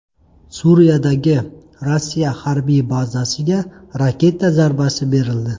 Suriyadagi Rossiya harbiy bazasiga raketa zarbasi berildi.